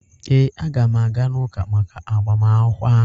ee, aga m aga n'ụka maka agbamakwụkwọ ahụ.